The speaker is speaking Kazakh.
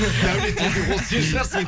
дәулет деген ол сен шығарсың